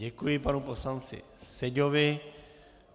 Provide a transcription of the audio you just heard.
Děkuji panu poslanci Seďovi.